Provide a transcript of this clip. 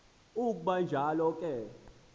ukuba kunjalo ke